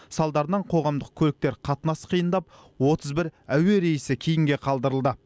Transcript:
салдарынан қоғамдық көліктер қатынасы қиындап отыз бір әуе рейсі кейінге қалдырылды